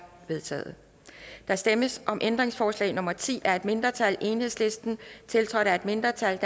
vedtaget der stemmes om ændringsforslag nummer ti af et mindretal tiltrådt af et mindretal